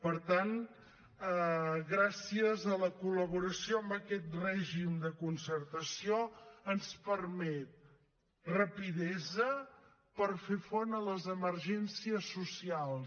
per tant gràcies a la col·laboració amb aquest règim de concertació ens permet rapidesa per fer front a les emergències socials